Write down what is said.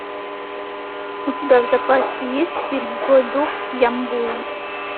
у тебя в запасе есть фильм злой дух ямбуя